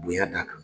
Bonya d'a kan